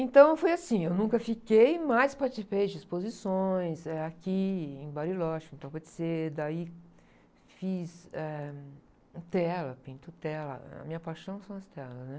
Então, foi assim, eu nunca fiquei, mas participei de exposições, eh, aqui e em Bariloche, então pode ser, daí, fiz, eh, tela, pinto tela, a minha paixão são as telas, né?